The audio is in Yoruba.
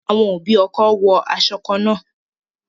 Àwọn òbí ọkọ wo aṣọ kan náà